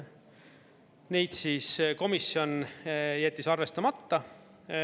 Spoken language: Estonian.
Neid siis komisjon jättis arvestamata.